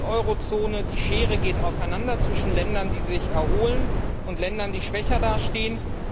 In der Eurozone geht die Schere auseinander zwischen Ländern, die sich erholen, und Ländern, die schwächer dastehen.